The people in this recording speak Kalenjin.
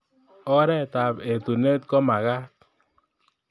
Oret ab etunet komakat